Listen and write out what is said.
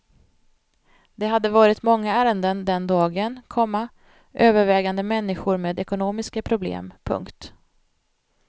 Det hade varit många ärenden den dagen, komma övervägande människor med ekonomiska problem. punkt